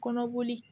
Kɔnɔboli